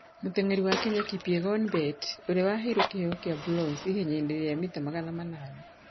Mũteng'eri wa Kenya Kipyegon Bett, ũrĩa waheirwo kĩheo kĩa bronze ihenya-inĩ rĩa mita magana manana